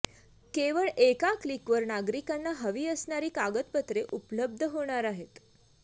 केवळ एका क्लिकवर नागरिकांना हवी असणारी कागदपत्रे उपलब्ध होणार आहेत